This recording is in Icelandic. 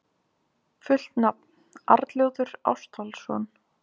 Fullt nafn: Arnljótur Ástvaldsson.